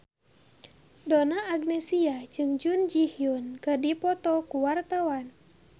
Donna Agnesia jeung Jun Ji Hyun keur dipoto ku wartawan